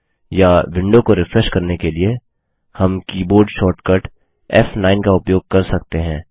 या विंडो को रिफ्रेश करने के लिए हम की बोर्ड शॉर्टकट फ़9 का उपयोग कर सकते हैं